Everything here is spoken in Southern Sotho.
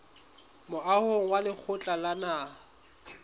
moahong wa lekgotla la naha